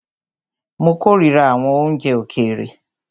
Mó kòrira àwọn oúnjẹ òkèèrè.